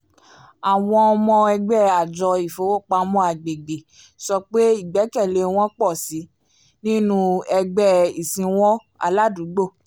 àwọn ọmọ ẹgbẹ́ àjọ ìfowópamọ́ agbègbè sọ pé ìgbẹ́kẹ̀lé wọn pọ̀ sí i nínú ẹgbẹ́ ìsìnwọ̀n aládùúgbò